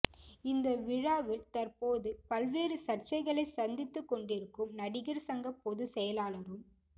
இந்த விழாவில் தற்போது பல்வேறு சர்ச்சைகளை சந்தித்துக்கொண்டிருக்கும் நடிகர் சங்க பொதுச் செயலாளரும்